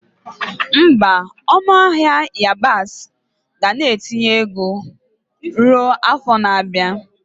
Mba, ọnụ ahịa yabasị ga na-etinye ọnụ ruo afọ na-abịa.